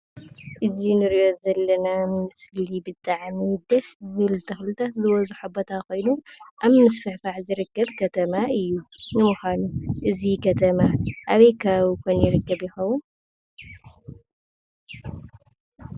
እዚ እንርእዮ ዘለና ምስሊ ብጣዕሚ ደስ ዝብል ተኽልታት ዝበዝሖ ቦታ ኾይኑ ኣብ ምስፍፋሕ ዝርከብ ከተማ እዩ። ንምኳኑ እዚ ከተማ ኣበይ ከባቢ ኮን ይርከብ ይኸውን?